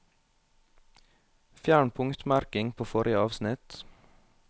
Fjern punktmerking på forrige avsnitt